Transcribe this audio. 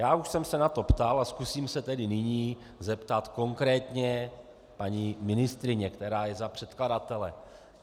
Já už jsem se na to ptal a zkusím se tedy nyní zeptat konkrétně paní ministryně, která je za předkladatele.